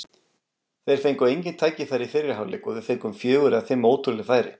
Þeir fengu engin tækifæri í fyrri hálfleik og við fengum fjögur eða fimm ótrúleg færi.